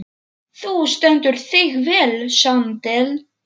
Þú stendur þig vel, Sandel!